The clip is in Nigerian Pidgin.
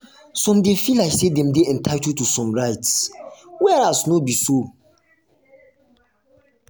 some de feel like say dem dey entitled to some rites whereas no no be so